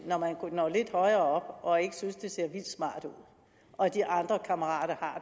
når lidt højere og ikke synes det ser vildt smart ud og de andre kammerater